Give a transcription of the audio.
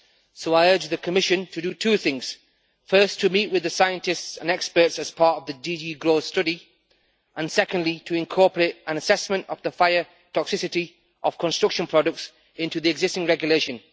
So I urge the Commission to do two things first, to meet with the scientists and experts as part of the DG GROW study, and secondly to incorporate an assessment of the fire toxicity of construction products into the existing regulation.